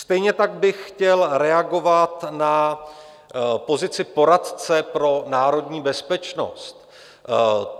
Stejně tak bych chtěl reagovat na pozici poradce pro národní bezpečnost.